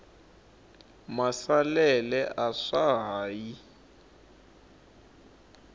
maasesele a swa ha yi